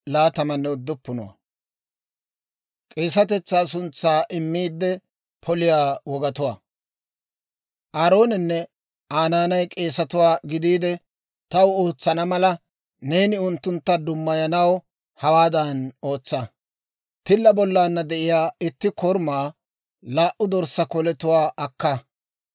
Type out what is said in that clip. «Aaroonenne Aa naanay k'eesatuwaa gidiide taw ootsana mala, neeni unttuntta dummayanaw hawaadan ootsa; tilla bollaanna de'iyaa itti korumaa, laa"u dorssaa koletuwaa akka;